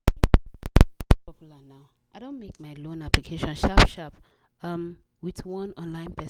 popular now, i don make my loan application sharp sharp um with one online pers